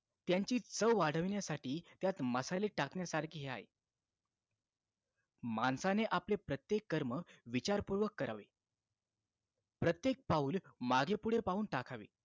त्यांची चव वाढवण्यासाठी त्यात मसाले टाकण्यासारखे हे आहे माणसाने प्रत्येक कर्म विचारपूर्वक करावे प्रत्येक पाऊल मागे पुढे पाहून टाकावे